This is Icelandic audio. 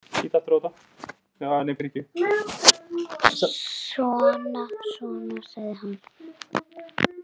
Svona, svona, sagði hann.